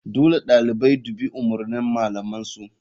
Dole ɗalibai dubi umurnin malaman su..